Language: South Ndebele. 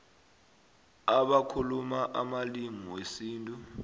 abakhuluma amalimi wesintu